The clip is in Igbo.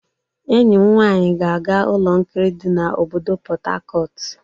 Enyi m nwanyi ga-aga ụlọ nkiri dị na obodo Pot Tarcot.